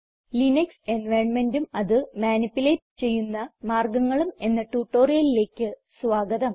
Linux environmentഉം അത് manipulate ചെയ്യുന്ന മാർഗങ്ങളും എന്ന ട്യൂട്ടോറിയലിലേക്ക് സ്വാഗതം